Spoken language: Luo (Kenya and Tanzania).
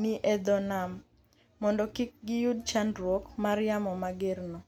ni e dho nam, mondo kik giyud chandruok mar yamo mager no